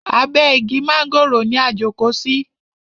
Abe igi mángòrò ni a jókò sí.